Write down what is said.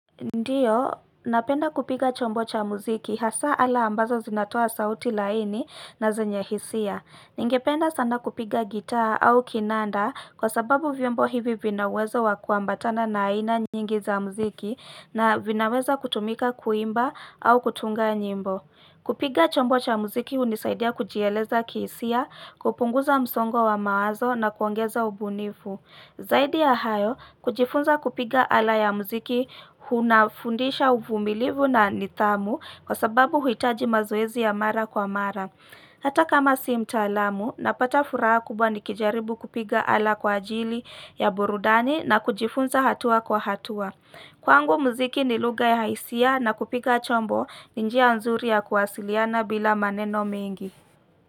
Ndiyo, napenda kupiga chombo cha muziki hasa ala ambazo zinatoa sauti laini na zenye hisia. Ningependa sana kupiga gitaa au kinanda kwa sababu vyombo hivi vinaweza wakuambatana na aina nyingi za muziki na vinaweza kutumika kuimba au kutunga nyimbo. Kupiga chombo cha muziki unisaidia kujieleza kihisia, kupunguza msongo wa mawazo na kuongeza ubunifu. Zaidi ya hayo, kujifunza kupiga ala ya muziki hunafundisha uvumilivu na nidhamu kwa sababu huitaji mazoezi ya mara kwa mara. Hata kama si mtaalamu, napata furaha kubwa nikijaribu kupiga ala kwa ajili ya burudani na kujifunza hatua kwa hatua. Kwangu muziki ni lugha ya hisia na kupiga chombo ni njia nzuri ya kuwasiliana bila maneno mengi.